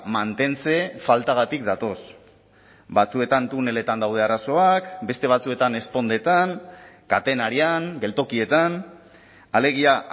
mantentze faltagatik datoz batzuetan tuneletan daude arazoak beste batzuetan ezpondetan katenarian geltokietan alegia